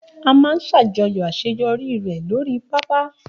A máa ṣàjọyọ̀ àṣeyọrí rẹ̀ lórii pápá